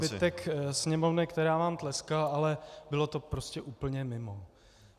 - pro zbytek Sněmovny, která vám tleskala, ale bylo to prostě úplně mimo.